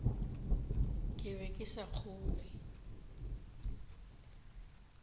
ke be ke sa kgolwe